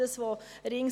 Das andere ist: